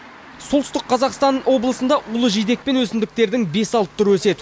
солтүстік қазақстан облысында улы жидек пен өсімдіктердің бес алты түрі өседі